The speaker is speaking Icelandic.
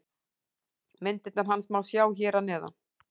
Myndirnar hans má sjá hér að neðan.